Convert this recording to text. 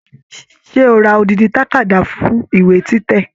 Ṣe o ra odidi takada fún ìwé títẹ̀?